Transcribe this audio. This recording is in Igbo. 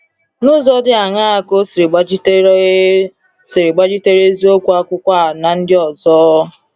N’ụzọ dị aṅaa ka o siri gbachitere o siri gbachitere eziokwu akwụkwọ a na ndị ọzọ?